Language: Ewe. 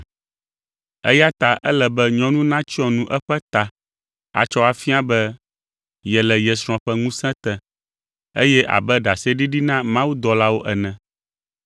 eya ta ele be nyɔnu natsyɔ nu eƒe ta atsɔ afia be yele ye srɔ̃ ƒe ŋusẽ te, eye abe ɖaseɖiɖi na mawudɔlawo ene.